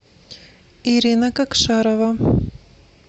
ирина кокшарова